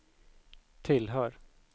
tillhör